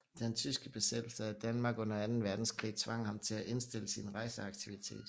Den tyske besættelse af Danmark under Anden Verdenskrig tvang ham til at indstille sin rejseaktivitet